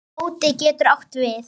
Kvóti getur átt við